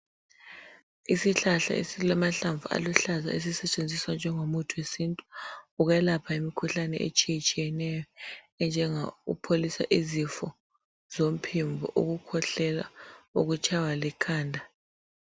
Isihlahla esilamahlamvu aluhlaza ezisetshenziswa njengomuthi wesintu, ukwelapha imikhuhlane etshiyetshiyeneyo, enjengokupholisa izifo zomphimbo, ukukhwehlela ukutshaywa likhanda.